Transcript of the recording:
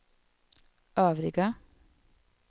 övriga